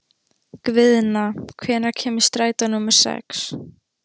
Guðna, hvenær kemur strætó númer sex?